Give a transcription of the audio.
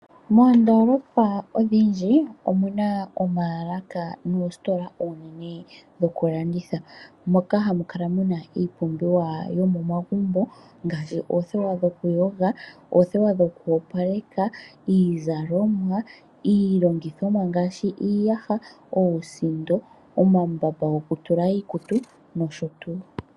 Moondoolopa odhindji omu na oomaalaka noositola dhokulanditha dhokulanditha moka hamu kala mu na iipumbiwa yomomagumbo ngaashi oothewa dhokuyoga, oothewa dhoku opaleka, iizalomwa, iilongithomwa ngaashi iiyaha, oosindo, omambamba gokutula iikutu nosho tu.